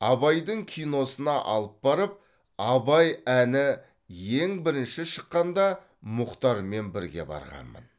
абайдың киносына алып барып абай әні ең бірінші шыққанда мұхтармен бірге барғанмын